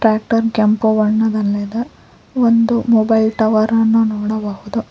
Tractor ಕೆಂಪು ಬಣ್ಣದಲ್ಲಿದೆ ಒಂದು ಮೊಬೈಲ್ ಒಂದು ಟವರ್ ಅನ್ನು ನೋಡಬಹುದು.